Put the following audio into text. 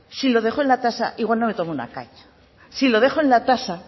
si lo dejo en la tasa igual no me tomo una caña si lo dejo en la tasa